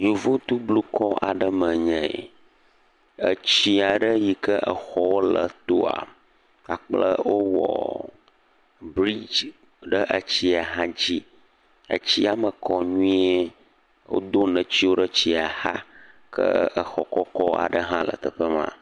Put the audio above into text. Yevuto blukɔ aɖe me nye yi. Etsi aɖe yike exɔ ɖe le etoa, wowɔ briɖge le etsia dzi. Etsia me kɔ nyuie. Wodo netiwo ɖe etsia va. Ke exɔ kɔkɔ aɖe hã le teƒe maa.